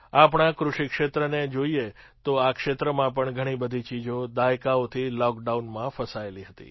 આપણા કૃષિ ક્ષેત્રને જોઈએ તો આ ક્ષેત્રમાં પણ ઘણી બધી ચીજો દાયકાઓથી લૉકડાઉનમાં ફસાયેલી હતી